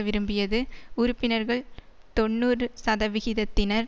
விரும்பியது உறுப்பினர்கள் தொன்னூறு சதவிகிதத்தினர்